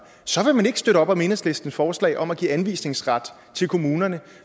så vil man ikke støtte op om enhedslistens forslag om at give anvisningsret til kommunerne